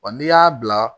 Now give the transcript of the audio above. Wa n'i y'a bila